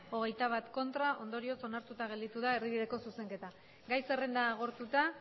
hogeita bat ondorioz onartuta gelditu da erdibideko zuzenketa gai zerrenda agortuta